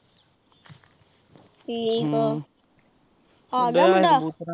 ਠੀਕ ਆ ਆਗਿਆ ਮੁੰਡਾ।